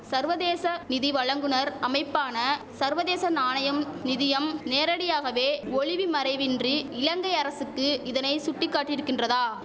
சர்வதேச நிதி வழங்குநர் அமைப்பான சர்வதேச நாணயம் நிதியம் நேரடியாகவே ஒளிவுமறைவின்றி இலங்கை அரசுக்கு இதனை சுட்டி காட்டியிருக்கின்றதா